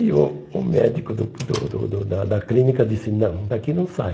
E o o médico do do do do da da clínica disse, não, daqui não sai.